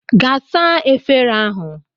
Gaa saa efere ahụ!